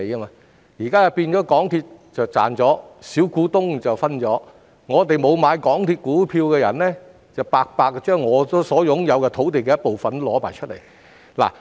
現在的情況是港鐵公司賺錢，小股東分享，而沒有買港鐵公司股票的人則連自己擁有的部分土地也奉上。